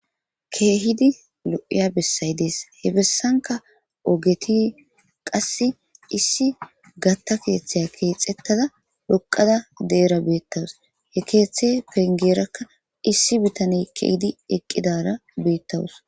Kehidi lo,iya besayi dees he besayika ogeti qasi issi gatha kethay kexetada xoqada pudera betawus kethe pengeraka issi bitane ke,idi eqidara betawus